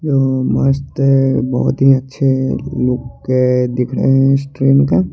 यो मस्त है बोहोत ही अच्छे लुके दिखरे इस ट्रेन का--